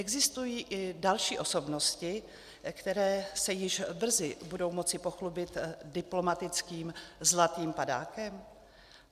Existují i další osobnosti, které se již brzy budou moci pochlubit diplomatickým zlatým padákem?